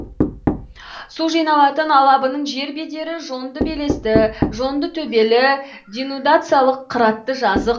су жиналатын алабының жер бедері жонды белесті жонды төбелі денудациялық қыратты жазық